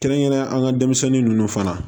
Kɛrɛnkɛrɛnnenya an ka denmisɛnnin ninnu fana